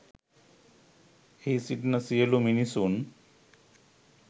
එහි සිටින සියලු මිනිසුන්